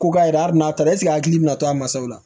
Ko ka yɛrɛ hari n'a taara a hakili bɛ na to a masaw la